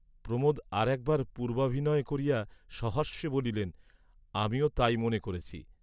প্রমোদ আর একবার পূর্ব্বাভিনয় করিয়া সহাস্যে বলিলেন, আমিও তাই মনে করেছি।